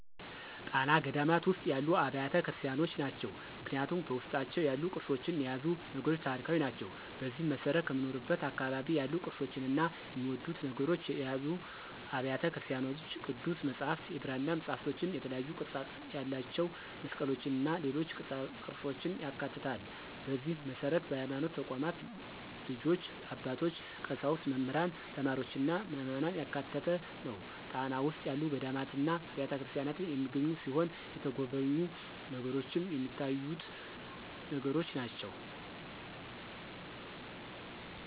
ጣና ገዳማት ውስጥ ያሉ አብያተ ክርስቲያኖች ናቸው። ምክንያቱም በውስጣቸው ያሉት ቅርሶችና የያዙት ነገሮች ታሪካዊ ናቸው። በዚህም መሰረት ከምኖርበት አካባቢ ያሉ ቅርፆችና የሚወደዱ ነገሮችን የያዙ አብያተ ቤተክርስቲያኖች ቅዱስ መፅሐፍት፣ የብራና መፅሐፍትእና የተለያዩ ቅርፅ ያላቸው መስቀሎችና ሌሎች ቅርፆችን ያካትታል፣ በዚህ መሰረት በሀይማኖት ተቋማት ልጆች፣ አባቶች፣ ቀሳውስት፣ መምህራን፣ ተማሪዎችና ምዕመናን ያካተተ ነው። ጣና ውስጥ ያሉ ገዳማትና አብያተክርስቲያናት የሚገኙ ሲሆን የተሚጎበኙ ነገሮችንም ሚታዩትን ነገሮች ናቸው።